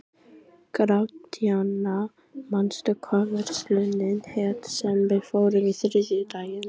Gratíana, manstu hvað verslunin hét sem við fórum í á þriðjudaginn?